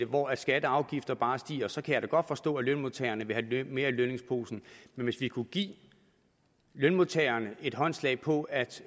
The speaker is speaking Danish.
hvor skatter og afgifter bare stiger fortsætte så kan jeg da godt forstå at lønmodtagerne vil have mere i lønningsposen men hvis vi kunne give lønmodtagerne et håndslag på at